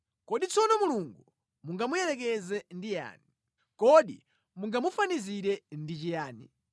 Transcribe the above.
Kodi tsono Mulungu mungamuyerekeze ndi yani? Kodi mungamufanizire ndi chiyani?